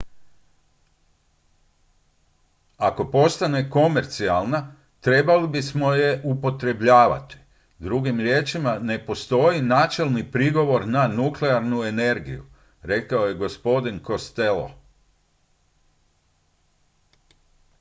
"""ako postane komercijalna trebali bismo je je upotrebljavati. drugim riječima ne postoji načelni prigovor na nuklearnu energiju" rekao je gospodin costello.